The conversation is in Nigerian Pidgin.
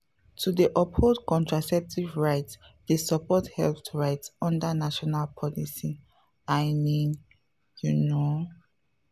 to dey uphold contraceptive rights dey support health rights under national policies i mean pause you know.